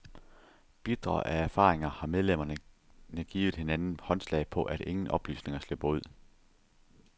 Bitre af erfaringer har medlemmerne givet hinanden håndslag på, at ingen oplysninger slipper ud.